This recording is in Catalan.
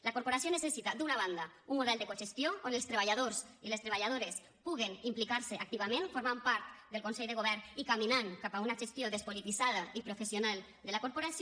la corporació necessita d’una banda un model de cogestió on els treballadors i les treballadores puguen implicar se activament formant part del consell de govern i caminant cap a una gestió despolititzada i professional de la corporació